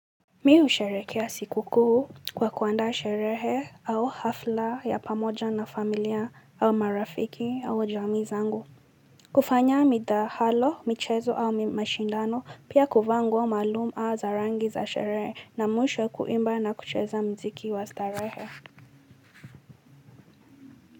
Mimi husherehekea sikukuu kwa kuandaa sherehe au hafla ya pamoja na familia au marafiki au jamaa zangu. Kufanya midahalo, michezo au mashindano, pia kuvaa maalumu au za rangi za sherehe na mwisho kuimba na kucheza muziki wa starehe.